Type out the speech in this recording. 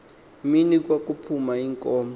mini kwakuphuma iinkomo